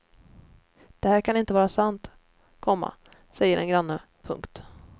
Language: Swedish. Det här kan inte vara sant, komma säger en granne. punkt